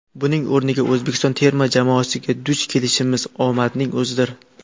Buning o‘rniga, O‘zbekiston terma jamoasiga duch kelishimiz omadning o‘zidir.